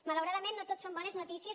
malauradament no tot són bones notícies